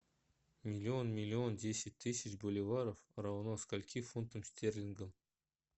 миллион миллион десять тысяч боливаров равно скольки фунтам стерлингам